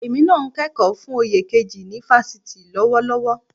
Èmi náà ń kẹ́kọ̀ọ́ fún oyè kejì ni fásitì lọ́wọ́lọ́wọ́